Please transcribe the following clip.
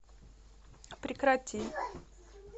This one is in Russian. прекрати